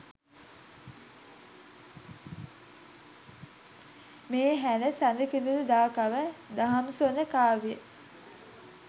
මේ හැර සඳකිඳුරුදාකව දහම්සොඬ කාව්‍යය